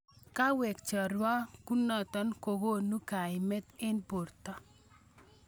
Kawek cheryakunotin kokonu kaimet eng borto.